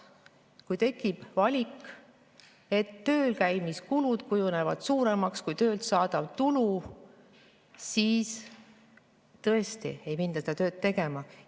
Kui tekib valik, et tööl käimise kulud kujunevad suuremaks kui tööga saadav tulu, siis tõesti ei minda seda tööd tegema.